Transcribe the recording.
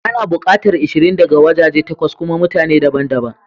Ana bukatar ishirin daga wajaje takwas kuma mutane daban daban.